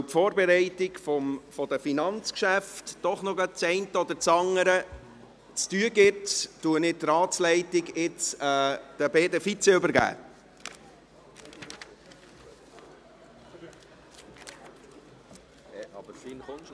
Da die Vorbereitung der Finanzgeschäfte noch ein wenig zu tun gibt, übergebe ich die Ratsleitung nun an die beiden Vizepräsidenten.